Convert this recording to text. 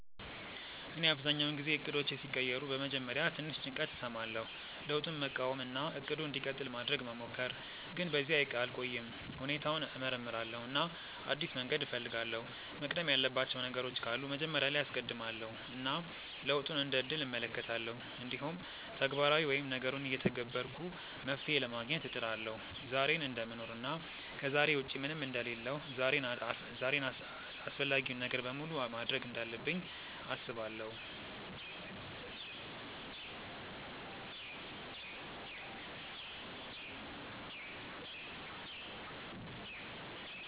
እኔ አብዛኛውን ጊዜ እቅዶቼ ሲቀየሩ በመጀመሪያ ትንሽ ጭንቀት እሰማለሁ፣ ለውጡን መቃወም እና “እቅዱ እንዲቀጥል” ማድረግ መሞከር፣ ግን በዚያ አልቆይም። ሁኔታውን እመርምራለሁ እና አዲስ መንገድ እፈልጋለሁ፤ መቅደም ያለባቸው ነገሮች ካሉ መጀመሪያ ላይ አስቀድማለው እና ለውጡን እንደ እድል እመለከታለሁ። እንዲሁም ተግባራዊ ወይም ነገሩን እየተገበርኩ መፍትሄ ለማግኘት እጥራለሁ። ዛሬን እደምኖር እና ከዛሬ ውጪ ምንም አንደ ሌለሁ ዛሬን አፈላጊውን ነገር በሙሉ ማድርግ እንዳለብኝ አስባለው።